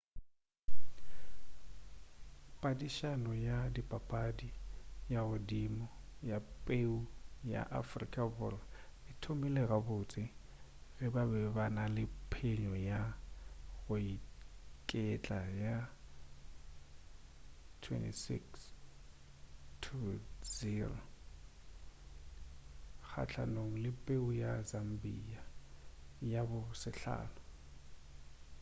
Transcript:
padišano ya dipapadi ya godimo ya peu ya afrika borwa e thomile gabotse ge ba be ba na le phenyo ya go iketla ya 26 - 00 kgahlanong le peu ya zambia ya bo 5